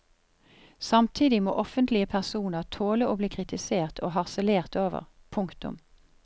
Samtidig må offentlige personer tåle å bli kritisert og harselert over. punktum